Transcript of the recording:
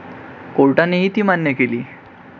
कोर्टानेही ती मान्य केली.